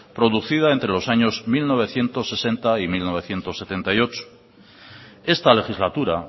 producida entre los años mil novecientos sesenta y mil novecientos setenta y ocho esta legislatura